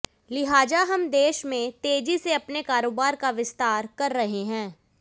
लिहाजा हम देश में तेजी से अपने कारोबार का विस्तार कर रहे हैं